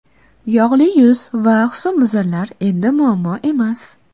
Yog‘li yuz va husnbuzarlar endi muammo emas!.